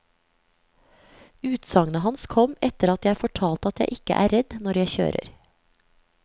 Utsagnet hans kom etter at jeg fortalte at jeg ikke er redd når jeg kjører.